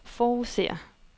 forudser